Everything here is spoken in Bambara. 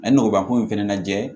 A ye nɔgɔbako in fɛnɛ lajɛ